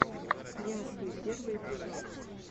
нясли первый эпизод